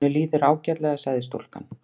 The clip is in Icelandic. Honum líður ágætlega sagði stúlkan.